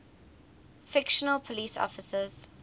fictional police officers